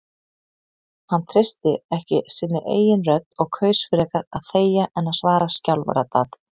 Hann treysti ekki sinni eigin rödd og kaus frekar að þegja en að svara skjálfraddað.